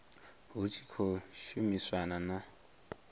hut shi khou shumisanwa na